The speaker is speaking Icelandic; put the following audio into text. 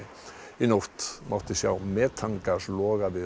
í nótt mátti sjá metangas loga við